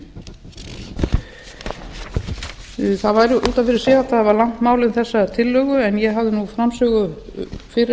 af fyrir sig hægt að hafa langt mál um þessa tillögu en ég hafði nú framsögu fyrir